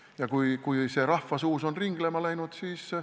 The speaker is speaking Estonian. Ja kui see rahva seas on ringlema läinud, siis ...